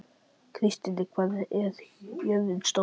Kristný, hvað er jörðin stór?